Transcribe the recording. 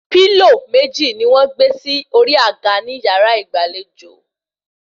Pílò méjì ni wọ́n gbé sí orí àga ní yàrá ìgbàlejò